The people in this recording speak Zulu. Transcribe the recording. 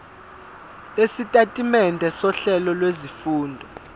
lwesitatimende sohlelo lwezifundo